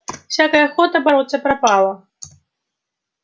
всякая охота бороться пропала